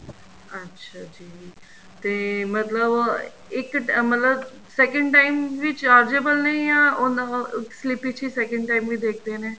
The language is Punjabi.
ਅੱਛਾ ਜੀ ਤੇ ਮਤਲਬ ਉਹ ਇੱਕ ਮਤਲਬ second time ਵੀ chargeable ਨੇ ਜਾਂ ਉਹਨਾ slip ਵਿੱਚ ਹੀ second time ਵੀ ਦੇਖਦੇ ਨੇ